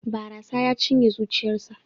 Barasa ya cinye zuciyarsa.